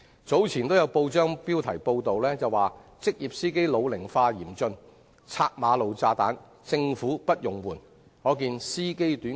早前有報章報道以"職業司機老齡化嚴峻拆馬路炸彈政府不容緩"為題，可見職業司機人手短缺。